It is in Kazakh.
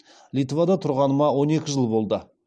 литвада тұрғаныма он екі жыл болды